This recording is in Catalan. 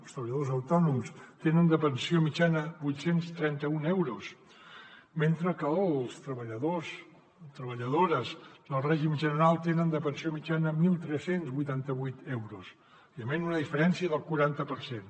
els treballadors autònoms tenen de pensió mitjana vuit cents i trenta un euros mentre que els treballadors i treballadores del règim general tenen de pensió mitjana tretze vuitanta vuit euros evidentment una diferència del quaranta per cent